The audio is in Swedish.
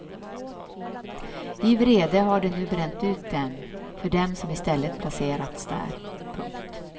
I vrede har de nu bränt ut dem för dem som i stället placerats där. punkt